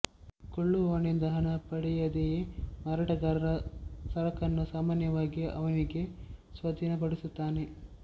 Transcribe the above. ಕೊಳ್ಳುವವನಿಂದ ಹಣ ಪಡೆಯದೆಯೇ ಮಾರಾಟಗಾರ ಸರಕನ್ನು ಸಾಮಾನ್ಯವಾಗಿ ಅವನಿಗೆ ಸ್ವಾಧೀನಪಡಿಸುತ್ತಾನೆ